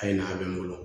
A ye n'a bɛ n bolo